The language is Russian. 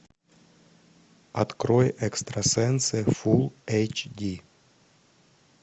открой экстрасенсы фулл эйч ди